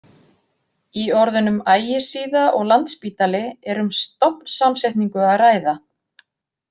Í orðunum Ægisíða og Landspítali er um stofnsamsetningu að ræða.